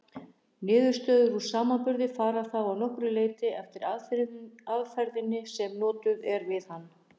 Niðurstöður úr samanburði fara þá að nokkru leyti eftir aðferðinni sem notuð er við hann.